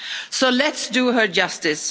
So let's do her justice.